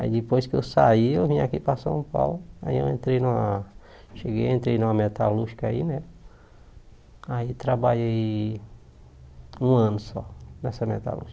Aí depois que eu saí, eu vim aqui para São Paulo, aí eu entrei numa, cheguei, entrei numa metalúrgica aí, né, aí trabalhei um ano só nessa metalúrgica.